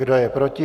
Kdo je proti?